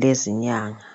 lezinyanga?.